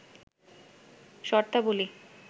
শর্তাবলী